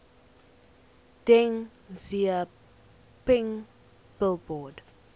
deng xiaoping billboard